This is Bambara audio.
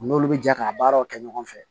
U n'olu bɛ jɛ k'a baaraw kɛ ɲɔgɔn fɛ